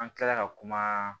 An kilala ka kuma